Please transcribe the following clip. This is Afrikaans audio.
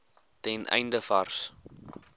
ten einde vars